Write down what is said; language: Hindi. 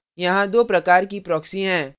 यहाँ दो प्रकार की proxy हैं